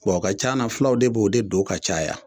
Ko a ka can na fulaw de b'o de don ka caya